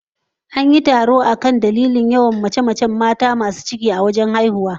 An yi taro domin gano dalilin yawan mace-macen mata masu ciki wajen haihuwa